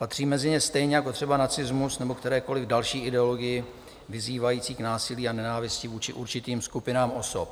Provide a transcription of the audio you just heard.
Patří mezi ně stejně jako třeba nacismus nebo kterékoli další ideologie vyzývající k násilí a nenávisti vůči určitým skupinám osob.